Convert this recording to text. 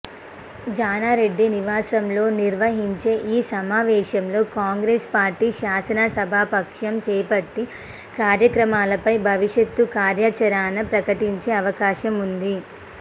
జానారెడ్డి నివాసంలో నిర్వహించే ఈ సమావేశంలో కాంగ్రెస్ పార్టీ శాసనసభాపక్షం చేపట్టి కార్యక్రమాలపై భవిష్యత్ కార్యాచరణ ప్రకటించే అవకాశం ఉంది